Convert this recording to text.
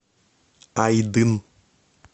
айдын